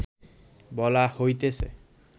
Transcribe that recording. বলা হইতেছে